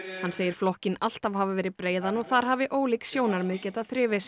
hann segir flokkinn alltaf hafa verið breiðan og þar hafi ólík sjónarmið getað þrifist